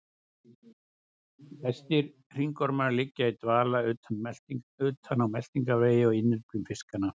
Flestir hringormar liggja í dvala utan á meltingarvegi og á innyflum fiskanna.